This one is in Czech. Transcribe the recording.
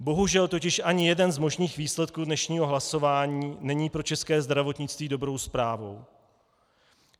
Bohužel totiž ani jeden z možných výsledků dnešního hlasování není pro české zdravotnictví dobrou zprávou.